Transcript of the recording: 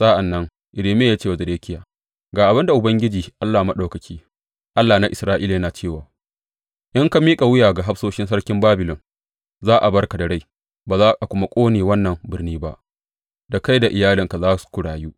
Sa’an nan Irmiya ya ce wa Zedekiya, Ga abin da Ubangiji Allah Maɗaukaki, Allah na Isra’ila, yana cewa, In ka miƙa wuya ga hafsoshin sarkin Babilon, za a bar ka da rai ba za a kuma ƙone wannan birni ba; da kai da iyalinka za ku rayu.